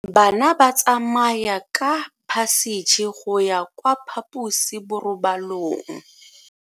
Bana ba tsamaya ka phašitshe go ya kwa phaposiborobalong.